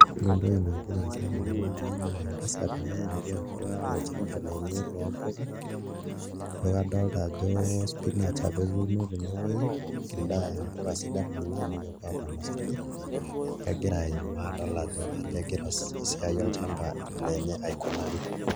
Ore entoki nagira aasa tenewueji naa entasat ena natii atu olchamba lenye loompuka ijo kadolta ajo spinach apa etuuno tenewuei endaa, mpuka sidan kuna amu kepuo aapon osarge egira aimaa adol ajo kaja egira esiai olchamba lenye aikunari.